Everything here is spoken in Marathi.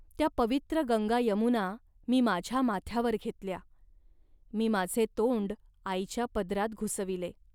त्या पवित्र गंगायमुना मी माझ्या माथ्यावर घेतल्या. मी माझे तोंड आईच्या पदरात घुसविले